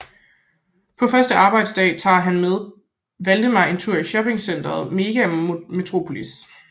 På første arbejdsdag tager han med Waldemar en tur i shopping centeret Megametropolis